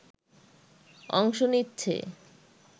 অংশ নিচ্ছে